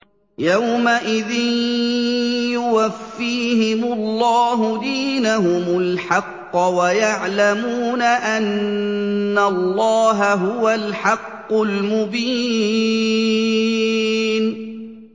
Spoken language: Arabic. يَوْمَئِذٍ يُوَفِّيهِمُ اللَّهُ دِينَهُمُ الْحَقَّ وَيَعْلَمُونَ أَنَّ اللَّهَ هُوَ الْحَقُّ الْمُبِينُ